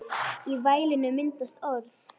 Í vælinu myndast orð.